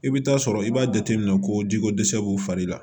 I bɛ taa sɔrɔ i b'a jateminɛ ko jiko dɛsɛ b'u fari la